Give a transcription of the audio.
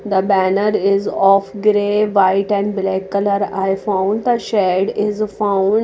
the banner is half grey white and black colour i found the shade is found --